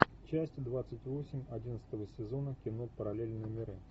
часть двадцать восемь одиннадцатого сезона кино параллельные миры